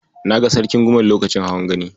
Na ga Sarkin Gumel lokacin hawan Gani.